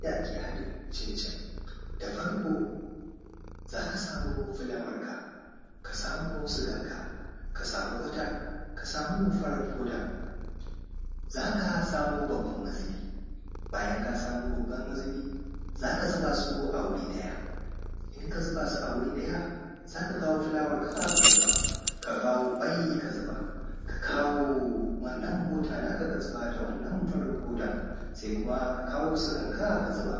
Yadda ake haɗin cincin, da farko za ka samu fulaawanka, ka samu suganka ka samu butter ka samu farar foda za ka samu babbar mazubi, bayan ka samo babban mazubi za ka zubasu a wuri ɗaya, in ka zubaa su a wuri ɗaya za ka kawo fulaawarka ka zuba ka kawo ƙwai ka zuba ka kawo wannan butter naa ka ka zuba da wannan farin hoda sai kuma ka kawo suganka ka zuba,